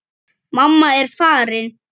Mamma er farin.